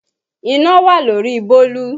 Iná wà lórí bólú